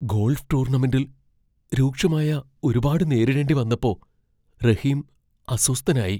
Golf ടൂർണമെന്റിൽ രൂക്ഷമായ ഒരുപാട് നേരിടേണ്ടി വന്നപ്പോ റഹീം അസ്വസ്ഥനായി.